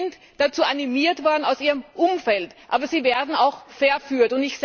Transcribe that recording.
Sie sind dazu animiert worden aus ihrem Umfeld, aber sie werden auch verführt.